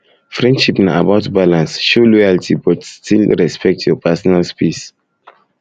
friendship na about balance show um loyalty but still respect your personal space